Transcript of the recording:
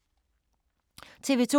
TV 2